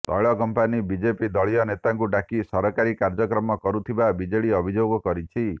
ତୈଳ company BJP ଦଳୀୟ ନେତାଙ୍କୁ ଡାକି ସରକାରୀ କାର୍ଯ୍ୟକ୍ରମ କରୁଥିବା ବିଜେଡି ଅଭିଯୋଗ କରିଛି